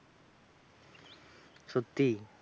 সত্যি